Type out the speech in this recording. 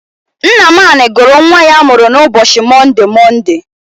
Nnamani gụrụ nnwa ya a mụrụ n'ụbochi Monde, Monde.